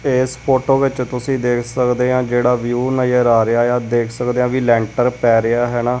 ਇੱਸ ਫ਼ੋਟੋ ਵਿੱਚ ਤੁਸੀਂ ਦੇਖ ਸਕਦੇ ਹਾਂ ਜਿਹੜਾ ਵਿਊ ਨਜ਼ਰ ਆ ਰਿਹਾ ਆ ਦੇਖ ਸਕਦੇ ਹਾਂ ਵੀ ਲੈਂਟਰ ਪਏ ਰਿਹਾ ਹੈਣਾ।